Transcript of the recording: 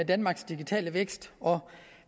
danmarks digitale vækst og